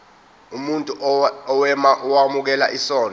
umuntu owemukela isondlo